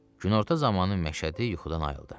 Günorta zamanı məşədi yuxudan ayıldı.